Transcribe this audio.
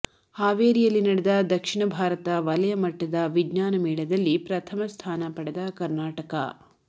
ಹಾವೇರಿಯಲ್ಲಿ ನಡೆದ ದಕ್ಷಿಣ ಭಾರತ ವಲಯಮಟ್ಟದ ವಿಜ್ಞಾನ ಮೇಳದಲ್ಲಿ ಪ್ರಥಮ ಸ್ಥಾನ ಪಡೆದ ಕನಾರ್ಣಟ